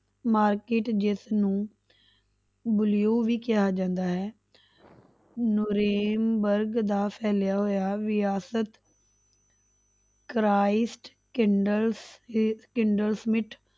Market ਜਿਸਨੂੰ blue ਵੀ ਕਿਹਾ ਜਾਂਦਾ ਹੈ ਨੂਰੇਨ ਵਰਗ ਦਾ ਫੈਲਿਆ ਹੋਇਆ ਵਿਰਾਸਤ ਕਰਾਈਸਡ